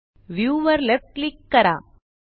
view वर left click करा